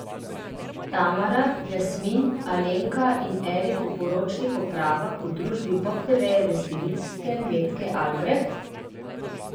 Tamara, Jasmin, Alenka in Erik v poročnih opravah v družbi poptevejeve stilistke Metke Albreht?